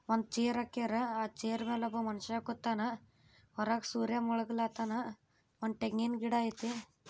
ಒಂದ್ ಚೇರ್ ಹಾಕ್ಯಾರ್ ಆ ಚೇರ್ ಮೇಲೆ ಒಬ್ಬ ಮನುಷ್ಯ ಕೂತವ್ನೆ ಹೊರಗ್ ಸೂರ್ಯ ಮುಳುಗಾವ್ ಕತ್ತಾವ್ನೆ ಒಂದ್ ತೆಂಗಿನ್ ಗಿಡ ಐತಿ.